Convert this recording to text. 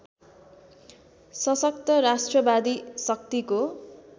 सशक्त राष्ट्रवादी शक्तिको